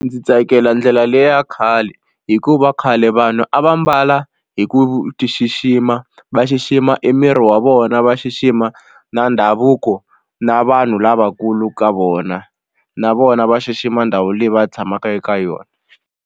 Ndzi tsakela ndlela leya khale hikuva khale vanhu a va mbala hi ku tixixima va xixima emiri wa vona va xixima na ndhavuko na vanhu lavakulu ka vona na vona va xixima ndhawu leyi va tshamaka eka yona.